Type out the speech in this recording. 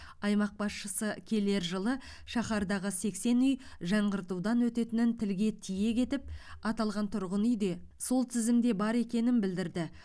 аймақ басшысы келер жылы шаһардағы сексен үй жаңғыртудан өтетінін тілге тиек етіп аталған тұрғын үй де сол тізімде бар екенін білдірді